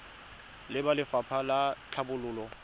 le ba lefapha la tlhabololo